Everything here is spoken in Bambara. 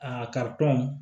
Aa